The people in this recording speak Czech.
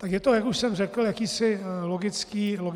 Tak je to, jak už jsem řekl, jakýsi logický rozpor.